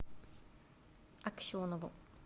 аксенову